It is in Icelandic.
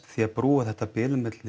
því að brúa þetta bil milli